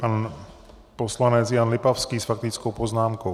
Pan poslanec Jan Lipavský s faktickou poznámkou.